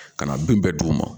Ka na bin bɛɛ d'u ma